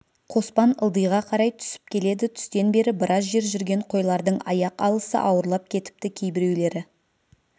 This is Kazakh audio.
қоспан ылдиға қарай түсіп келеді түстен бері біраз жер жүрген қойлардың аяқ алысы ауырлап кетіпті кейбіреулері